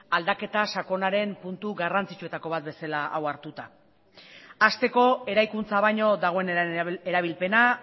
aldaketa sakonaren puntu garrantzitsuetako bat hau hartuta hasteko eraikuntza baino dagoen erabilpena